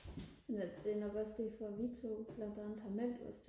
det er nok derfor vi to blandt andet har meldt os